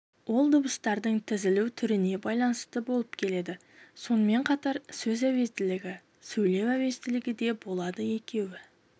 ол дыбыстардың тізілу түріне байланысты болып келеді сонымен қатар сөз әуезділігі сөйлеу әуезділігі де болады екеуі